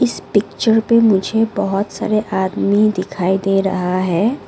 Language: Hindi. इस पिक्चर पे मुझे बहोत सारे आदमी दिखाई दे रहा है।